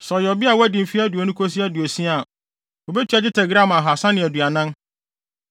sɛ ɔyɛ ɔbea a wadi mfe aduonu kosi aduosia a, wobetua dwetɛ gram ahaasa ne aduanan (340),